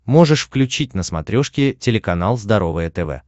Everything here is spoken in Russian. можешь включить на смотрешке телеканал здоровое тв